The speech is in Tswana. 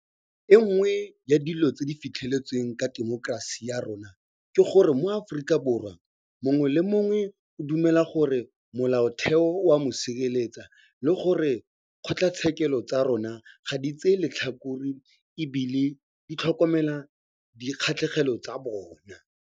E nngwe ya dilo tse re di fitlheletseng ka temokerasi ya rona ke gore moAforika Borwa mongwe le mongwe o dumela gore Molaotheo o a mo sireletsa le gore dikgotlatshekelo tsa rona ga di tsaye letlhakore e bile di tlhokomela dikgatlhegelo tsa bona.